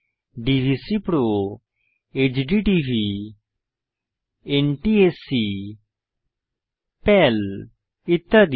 ডিভিসিপিরও HDTV NTSC PAL ইত্যাদি